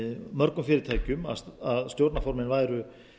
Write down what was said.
mörgum fyrirtækjum að stjórnarformenn væru